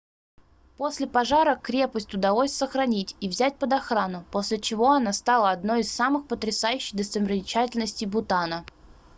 после пожара крепость удалось сохранить и взять под охрану после чего она стала одной из самых потрясающих достопримечательностей бутана